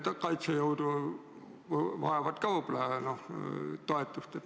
Meie kaitsejõud vajavad ka võib-olla toetust.